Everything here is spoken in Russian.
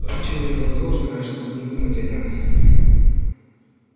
поручение возложенное на него хантером было слишком серьёзным чтобы не думать о нём